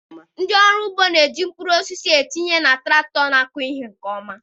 ndị ọrụ ugbo na-eji mkpuru osisi etinyere na traktọ na-akụ mkpụrụ nke ọma.